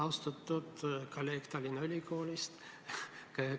Austatud kolleeg Tallinna Ülikoolist!